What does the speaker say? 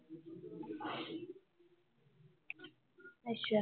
ਅੱਛਾ